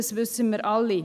Das wissen wir alle.